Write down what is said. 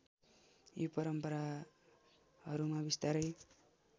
यी परम्पराहरूमा बिस्तारै